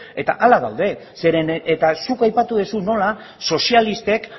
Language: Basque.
eta hala gaude zeren eta zuk aipatu duzu nola sozialisten